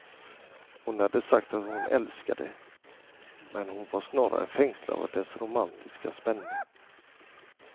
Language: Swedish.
Hon hade sagt att hon älskade det, men hon var snarare fängslad av dess romantiska spänning.